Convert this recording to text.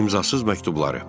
Tomun imzasız məktubları.